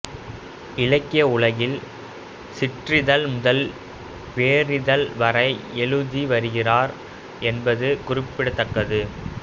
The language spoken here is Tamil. இலக்கிய உலகில் சிற்றிதழ் முதல் பேரிதழ் வரை எழுதி வருகிறார் என்பது குறிப்பிடத்தக்கது